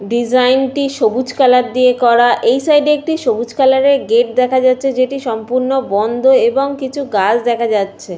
ডিসাইনটি সবুজ কালার দিয়ে করা। এই সাইডে একটি সবুজ কালারের গেট দেখা যাচ্ছে যেটি সম্পূর্ণ বন্ধ এবং কিছু গাছ দেখা যাচ্ছে ।